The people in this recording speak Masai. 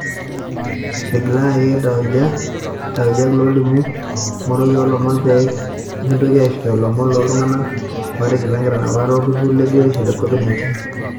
Eting'ilaki taujak lolimu ngoroki oo lomon pemitoki aishoyo lomon loo iltunganak oo ting'ilaa nkitanapat oo olturur le biotisho ee Covid 19